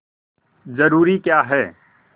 जरूरी क्या है